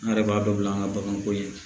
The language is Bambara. An yɛrɛ b'a dɔn bila an ka baganko ye